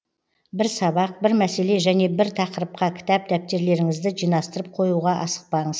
бір сабақ бір мәселе және бір тақырыпқа кітап дәптерлеріңізді жинастырып қоюға асықпаңыз